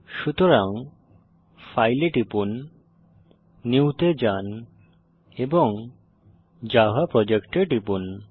সুতরাং ফাইল এ টিপুন নিউ তে যান এবং জাভা প্রজেক্ট এ টিপুন